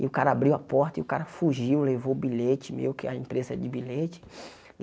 E o cara abriu a porta e o cara fugiu, levou o bilhete, meu que a empresa é de bilhete.